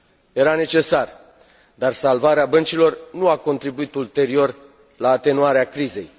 Era necesar, dar salvarea băncilor nu a contribuit ulterior la atenuarea crizei.